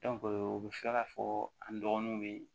o bɛ fɛ ka fɔ an dɔgɔnunw bɛ